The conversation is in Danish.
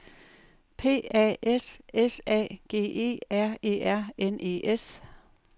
P A S S A G E R E R N E S